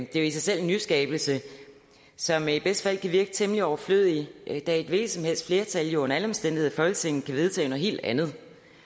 jo i sig selv en nyskabelse som i bedste fald kan virke temmelig overflødig da et hvilket som helst flertal jo under alle omstændigheder i folketinget kan vedtage noget helt andet